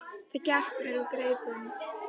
En það gekk mér úr greipum.